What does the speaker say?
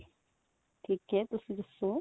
ਠੀਕ ਏ ਤੁਸੀਂ ਦੱਸੋ